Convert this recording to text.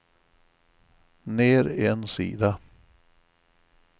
ner en sida